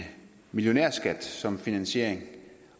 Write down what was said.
millionærskat som finansiering